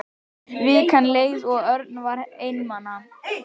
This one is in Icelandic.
Vikan leið og Örn var einmana.